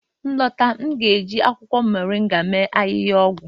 m lọta, m ga-eji akwụkwọ moringa mee ahịhịaọgwụ